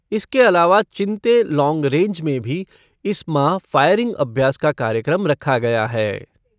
इसके अलावा चिंते लॉन्ग रेंज में भी इस माह फ़ायरिंग अभ्यास का कार्यक्रम रखा गया है।